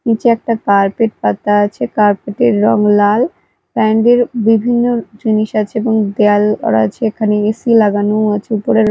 নীচে একটা কার্পেট পাতা আছে কার্পেটের -এর রং লাল বিভিন্ন জিনিস আছে এবং দেয়াল করা আছে এখানে এ_সি লাগানোও আছে উপরে।